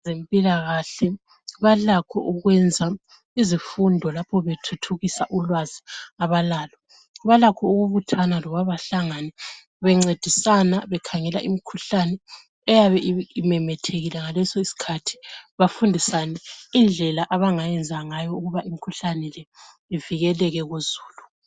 Abezempilakahle balakho ukwenza izifundo lapho bethuthukisa ulwazi abalalo. Balakho ukubuthana loba bahlangane bencendisana, bekhangela imkhuhlani eyabe imemethekile ngaleso iskhathi. Bafundisane indlela abangayenza ngayo ukuba imkhuhlane le ivekeleke kuzulu.